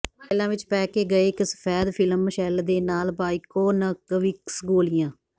ਫਾਈਲਾਂ ਵਿਚ ਪੈਕੇ ਗਏ ਇੱਕ ਸਫੈਦ ਫਿਲਮ ਸ਼ੈਲ ਦੇ ਨਾਲ ਬਾਇਕੋਨਵਿਕਸ ਗੋਲ਼ੀਆਂ